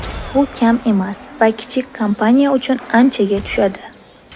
Bu kam emas va kichik kompaniya uchun anchaga tushadi.